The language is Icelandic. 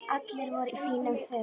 Allir voru í fínum fötum.